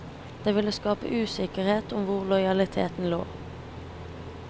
Det ville skape usikkerhet om hvor lojaliteten lå.